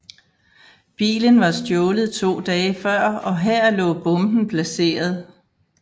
Bilen var stjålet to dage før og her lå bomben placeret